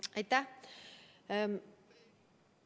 Aitäh!